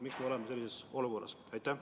Miks me oleme sellises olukorras?